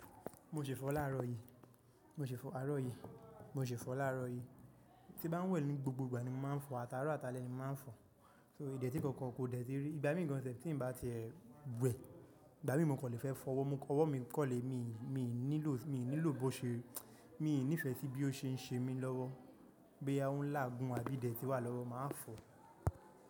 Mo ṣè fọ̀ọ́ láàárọ̀ yí, mo ṣè fọ àárọ̀ yí, mo ṣè fọ láàárọ̀ yí. Tí bá ń wẹ̀ ní gbogbo ìgbà ni mo máa ń fọ̀ọ́, at'àárọ̀ at'alẹ́ ni mo máa ń fọ̀ọ́. Ìdẹ̀ tí kankan kò dẹ̀ tí rí. Ìgbà mí gan sef tí ń bá ti ẹ wẹ̀, ìgbà mí mo kò lè fẹ́ fọwọ́, ọwọ́ mi kò lè, mi ní lò bó ṣe, mi ní fẹ sí bí ó ṣe ń ṣe mí lọ́wọ́, bóyá ó ń láàgun àbí ìdẹ̀tí wà lọ́wọ́ máa fọ̀ọ́.